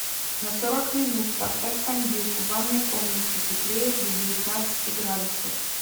на сорок минут поставь кондюк в ванной комнате теплее до девятнадцати градусов